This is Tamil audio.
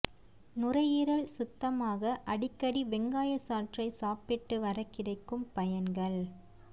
நுரையீரல் சுத்தமாக அடிக்கடி வெங்காயச் சாற்றை சாப்பிட்டு வர கிடைக்கும் பயன்கள்